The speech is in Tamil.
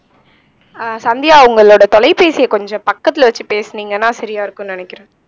ஆஹ் சந்தியா உங்களோட தொலைபேசியை கொஞ்சம் பக்கத்துல வச்சு பேசுனீங்கன்னா சரியா இருக்கும்னு நினைக்கிறேன்